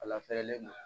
A lafiyalen don